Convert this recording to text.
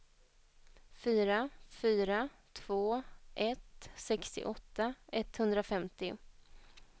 fyra fyra två ett sextioåtta etthundrafemtio